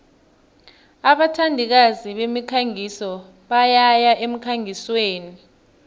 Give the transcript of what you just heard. abathandikazi bemikhangiso bayaya emkhangisweni